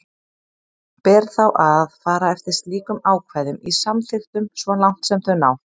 Ber þá að fara eftir slíkum ákvæðum í samþykktunum svo langt sem þau ná.